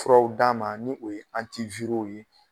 Furaw d'a ma ni o ye w ye